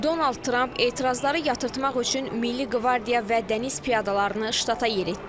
Donald Tramp etirazları yatırtmaq üçün Milli Qvardiya və Dəniz piyadalarını ştata yeritdi.